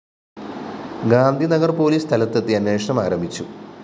ഗാന്ധി നഗര്‍പോലീസ് സ്ഥലത്തെത്തി അന്വേഷണം ആരംഭിച്ചു